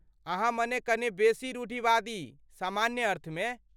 अहाँ मने कने बेसी रूढ़िवादी, सामान्य अर्थमे?